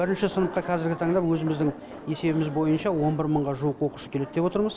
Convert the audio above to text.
бірінші сыныпқа қазіргі таңда өзіміздің есебіміз бойынша он бір мыңға жуық оқушы келеді деп отырмыз